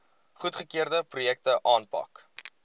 goedgekeurde projekte aanpak